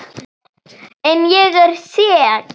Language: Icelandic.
En ég er sek.